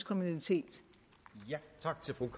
kriminalitet